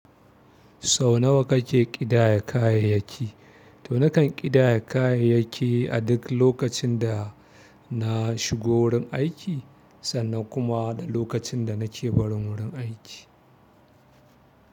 Sau nawa kake ƙidaya kayayyaki to nakan ƙidaya kayayyaki a duk lokacin da na shigo wurin aiki sannan kuma da lokacin da nake barin wurin aiki.